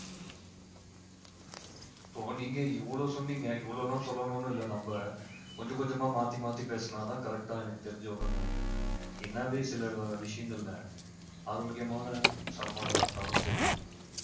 இப்போ நீங்க இவ்வளோ சொன்னீங்க இவ்வளோ எல்லாம் சொல்லணும்னு இல்லை நம்ம கொஞ்சம் கொஞ்சமா மாத்தி மாத்தி பேசுனாதான் correct ஆ எனக்கு தெரிஞ்சு வரும்ன்னு நினைக்கிறேன் என்னவே சில விஷயங்கள்ல ஆரோக்கியமான சாப்பாடை சாப்பிட்டாலும் சரி